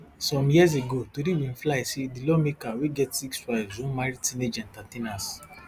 some years ago tori bin fly say di lawmaker wey get six wives wan marry teenage entertainers